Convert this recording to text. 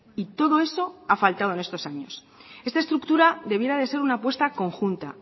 y todo eso ha faltado en estos años esta estructura debiera de ser una apuesta conjunta